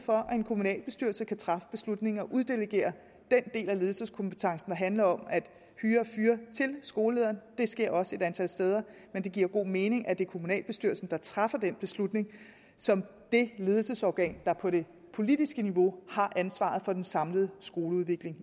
for at en kommunalbestyrelse kan træffe beslutning om at uddelegere den del af ledelseskompetencen der handler om at hyre og fyre til skolelederen det sker også et antal steder men det giver god mening at det er kommunalbestyrelsen der træffer den beslutning som det ledelsesorgan der på det politiske niveau har ansvaret for den samlede skoleudvikling